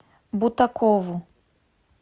бутакову